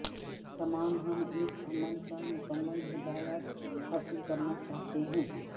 تمام ہم ایک عمل کا مکمل ہدایات حاصل کرنا چاہتے ہیں